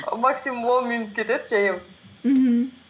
максимум он минут кетеді жаяу мхм